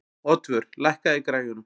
Oddvör, lækkaðu í græjunum.